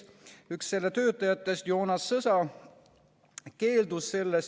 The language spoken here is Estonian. Üks töötajatest, Joonas Sõsa, keeldus sellest.